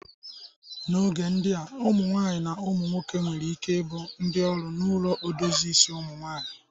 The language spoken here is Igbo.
N'oge ndịa, ụmụnwaanyị na ụmụ nwoke nwere ike ibụ ndị ọrụ n'ụlọ idozie isi ụmụnwaanyị.